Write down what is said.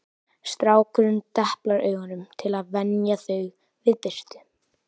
Strákurinn deplar augunum til að venja þau við birtu